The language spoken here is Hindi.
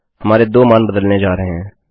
हमारे 2 मान बदलने जा रहे हैं